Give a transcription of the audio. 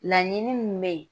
Laɲini min bɛ yen